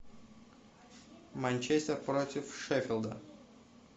манчестер против шеффилда